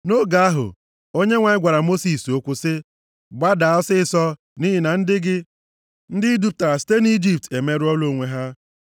Nʼoge ahụ, Onyenwe anyị gwara Mosis okwu sị, “Gbada ọsịịsọ, nʼihi na ndị gị, ndị i dupụtara site nʼIjipt emerụọla onwe ha.